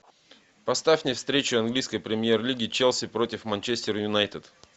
поставь мне встречу английской премьер лиги челси против манчестер юнайтед